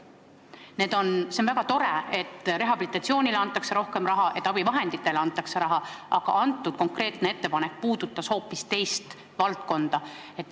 See on väga tore, et rehabilitatsiooniks antakse rohkem raha, et abivahendite hankimiseks antakse rohkem raha, aga konkreetne ettepanek puudutas hoopis teist valdkonda.